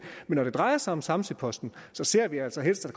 men når det drejer sig om samsø posten ser vi altså helst at